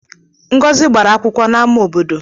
Ngọzi gbara akwụkwọ n'amá obodo.